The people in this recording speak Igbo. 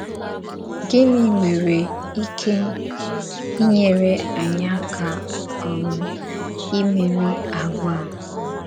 Gịnị nwerè íké ínyèrè ányị àkà um ìmèrí àgwà a?